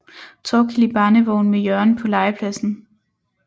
Torkild i barnevogn med Jørgen på legepladsen